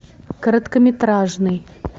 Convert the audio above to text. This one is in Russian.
короткометражный